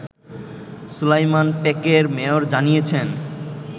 সুলাইমান পেকের মেয়র জানিয়েছেন